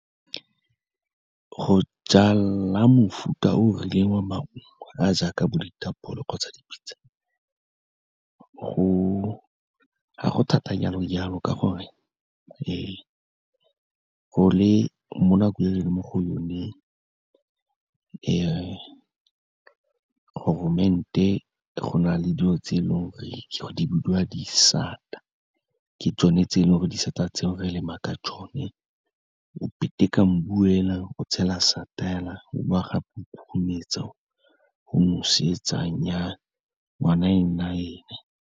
Go jala mofuta o o rileng wa maungo a jaaka bo ditapole kgotsa ga go thata jalo-jalo, ka gore mo nakong e re leng mo go yone, go na le dilo tse e leng gore di bidiwa di sata, ke tsone tse e leng gore disata tseo re lema ka tsone, o petika mmu fela, o tshela sata fela, o bowa gape o khurumetsa, o nosetsa, nnyaa, ngwana e nna ene.